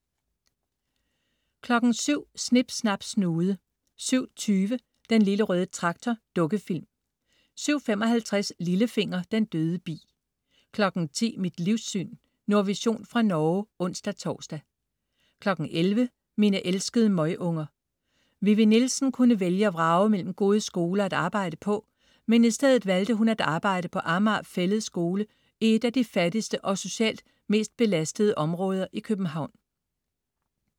07.00 Snip Snap Snude 07.20 Den lille røde traktor. Dukkefilm 07.55 Lillefinger. Den døde bi 10.00 Mit livssyn. Nordvision fra Norge (ons-tors) 11.00 Mine elskede møgunger. Vivi Nielsen kunne vælge og vrage mellem gode skoler at arbejde på. Men i stedet valgte hun at arbejde på Amager Fælled Skole i et af de fattigste og socialt belastede områder i København